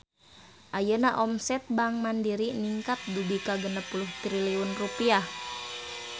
Ayeuna omset Bank Mandiri ningkat dugi ka 60 triliun rupiah